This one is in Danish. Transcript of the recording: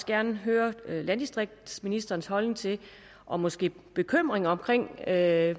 gerne vil høre om landdistriktsministerens holdning til og måske bekymring om at